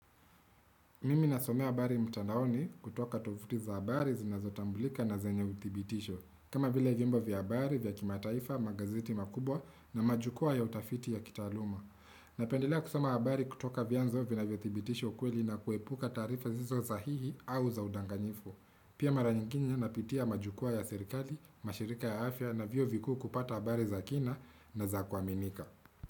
Mimi nasomea habari mtandaoni kutoka tovuti za habari zinazotambulika na zenye uthibitisho. Kama vile vyombo vya habari vya kimataifa, magazeti makubwa na majukua ya utafiti ya kitaaluma. Napendelea kusoma habari kutoka vyanzo vinavyothibitisha ukweli na kuepuka taarifa zisizo sahihi au za udanganyifu. Pia mara nyingine napitia majukwa ya serikali, mashirika ya afya na vyuo vikuu kupata habari za kina na za kuaminika.